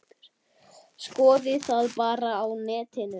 Skoðið það bara á netinu.